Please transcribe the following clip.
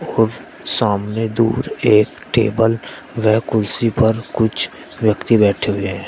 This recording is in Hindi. सामने दूर एक टेबल व कुर्सी पर कुछ व्यक्ति बैठे हुए हैं।